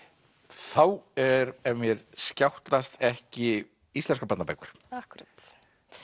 þá er ef mér skjátlast ekki íslenskar barnabækur akkúrat